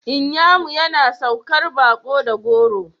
Inyamu yana saukar baƙo da goro.